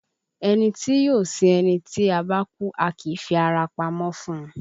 Ẹni tí yóò sin ẹni tí a bá kú, a kì í fi ara pamọ́ fún un